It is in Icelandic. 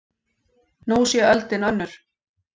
Nú sé öldin önnur.